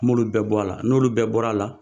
N b'olu bɛɛ bɔ a la n'olu bɛɛ bɔra a la